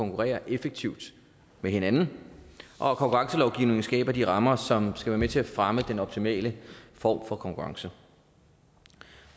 konkurrerer effektivt med hinanden og at konkurrencelovgivningen skaber de rammer som skal være med til at fremme den optimale form for konkurrence